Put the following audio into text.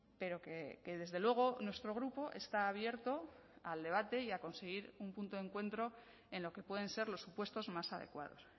pero que desde luego nuestro grupo está abierto al debate y a conseguir un punto de encuentro en lo que pueden ser los supuestos más adecuados